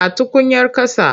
A tukuyar ƙasa.